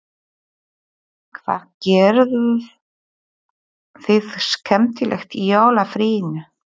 Hvað gerðuð þið skemmtilegt í jólafríinu?